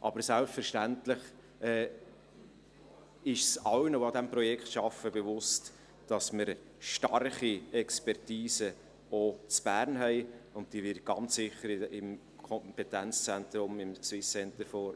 Doch selbstverständlich ist es allen, die an diesem Projekt arbeiten, bewusst, dass wir starke Expertisen auch in Bern haben, und diese werden sicher im Kompetenzzentrum, im SCDH,